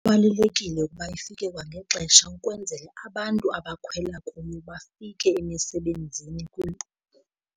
Kubalulekile ukuba ifike kwangexesha ukwenzele abantu abakhwela kuyo bafike emisebenzini .